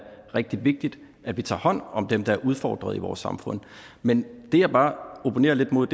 rigtig vigtigt at vi tager hånd om dem der er udfordret i vores samfund men det jeg bare opponerer lidt mod